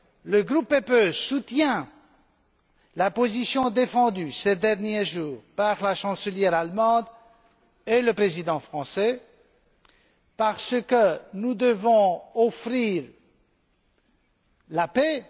Le groupe PPE soutient la position défendue, ces derniers jours, par la chancelière allemande et le président français, parce que nous devons offrir la paix.